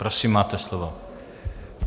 Prosím máte slovo.